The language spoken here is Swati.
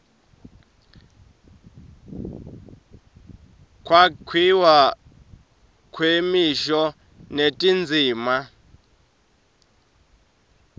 kwakhiwa kwemisho netindzima